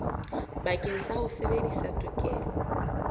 bakeng sa ho sebedisa tokelo